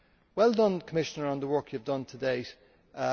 Well done, Commissioner, for the work you have done to date.